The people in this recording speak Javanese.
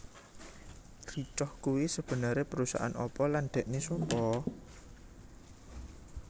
Ricoh kuwi sebenere perusahaan apa lan dhekne sopo?